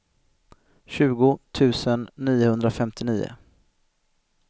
tjugo tusen niohundrafemtionio